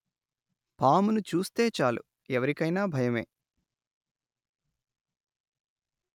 పామును చూస్తే చాలు ఎవరికైనా భయమే